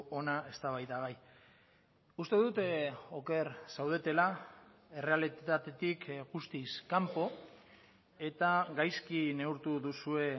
hona eztabaidagai uste dut oker zaudetela errealitatetik guztiz kanpo eta gaizki neurtu duzue